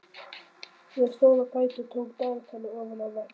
Ég stóð á fætur og tók dagatal ofan af vegg.